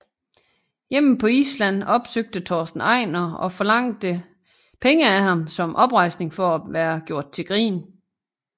Hjemme på Island opsøgte Torsten Einar og forlangte penge af ham som oprejsning for at være gjort til grin